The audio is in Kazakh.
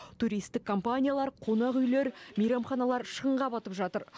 туристік компаниялар қонақүйлер мейрамханалар шығынға батып жатыр